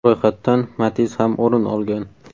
Ro‘yxatdan Matiz ham o‘rin olgan.